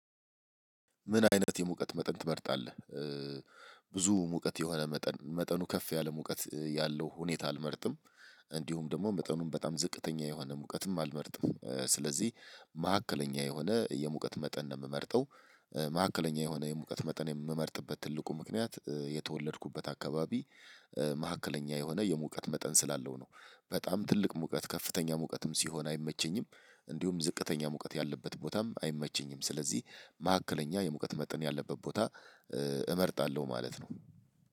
ምን አይነት የሙቀት መጠን ትመርጣለህ? ብዙ ሙቀት የሆነ መጠን መጠኑ ከፍ ያለ ሙቀት ያለው ሁኔታ አልመርጥም እንዲሁም ደግሞ መጠኑን በጣም ዝቅተኛ የሆነ ሙቀትም አልመርጥም። ስለዚህ ማዕከለኛ የሆነ የሙቀት መጠን ነው ምመርጠው። ማዕከለኛ የሆነ የሙቀት መጠን ምመርጥበት ትልቁ ምክንያት የተወለድኩበት አካባቢ መሃከለኛ የሆነ የሙቀት መጠን ስላለው ነው። በጣም ትልቅ ሙቀት ከፍተኛ ሙቀትም ሲሆን አይመቸኝም። እንዲሁም ዝቅተኛ ሙቀት ያለበት ቦታም አይመቸኝም። ስለዚህ መሃከለኛ የሙቀት መጠን ያለበት ቦታ እመርጣለሁ ማለት ነው።